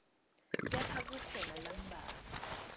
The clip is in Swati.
kepha kukhona lambalwa